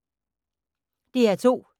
DR2